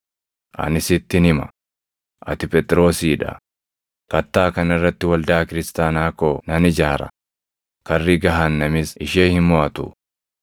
Ani sittin hima; ati Phexrosii dha; kattaa kana irratti waldaa kiristaanaa koo nan ijaara; karri gahaannamis ishee hin moʼatu.